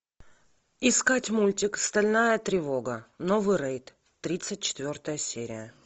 искать мультик стальная тревога новый рейд тридцать четвертая серия